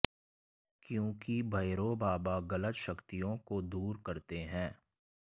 क्योंकि भैरो बाबा गलत शक्तियों को दूर करते हैं